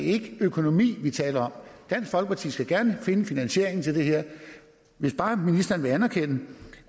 ikke økonomi vi taler om dansk folkeparti skal gerne finde finansieringen til det her hvis bare ministeren vil anerkende